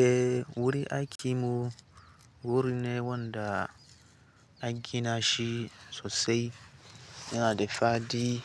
Eh wuri aiki mu wuri ne wanda angina shi sosai yana da fadi